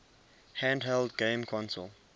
handheld game console